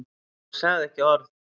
Hann sagði ekki orð.